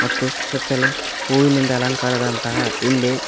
ಮತ್ತು ಸುತ್ತಲೂ ಹೂವಿನಿಂದ ಅಲಂಕಾರದ ಹಿಂದೆ.